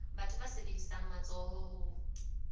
batho ba sebedisang matsoho ho